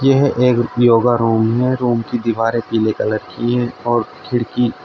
यह एक योगा रूम है रूम की दीवारें पीले कलर की है और खिड़की--